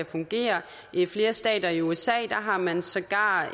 fungere i flere stater i usa har man sågar